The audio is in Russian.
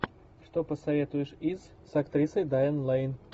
что посоветуешь из с актрисой дайан лэйн